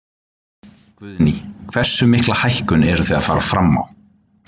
Guðný: Hversu mikla hækkun eruð þið að fara fram á?